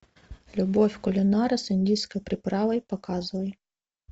любовь кулинара с индийской приправой показывай